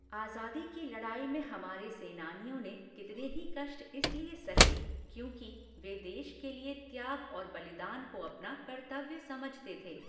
आज़ादी की लड़ाई में हमारे सेनानियों ने कितने ही कष्ट इसलिए सहे, क्योंकि, वे देश के लिए त्याग और बलिदान को अपना कर्तव्य समझते थे।